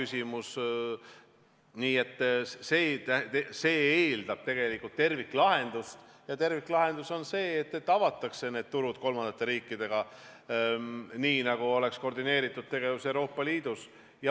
See eeldab terviklahendust ja terviklahendus on see, et avatakse piirid kolmandate riikidega, nii et oleks koordineeritud tegevus Euroopa Liidus.